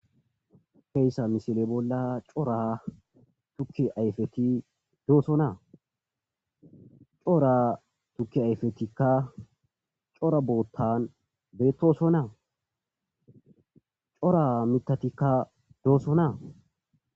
Hayssa misile bolla cora tukki ayfeti doosonaa. cora tukki ayfetikka cora boottan beettoso. naa cora miththatikka doosona.